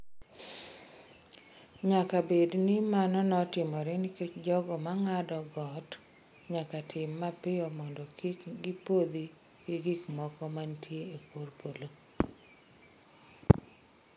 Nyaka bed ni mano timore nikech jogo ma ng’ado got nyaka tim mapiyo mondo kik gipodho gi gik moko mantie e kor polo.